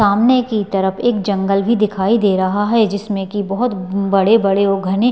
सामने की तरफ एक जंगल भी दिखाई दे रहा है जिसमे की बहुत बड़े बड़े और घने--